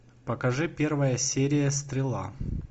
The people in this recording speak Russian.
покажи первая серия стрела